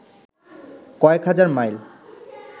কয়েক হাজার মাইল